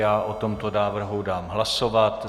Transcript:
Já o tomto návrhu dám hlasovat.